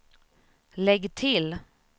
lägg till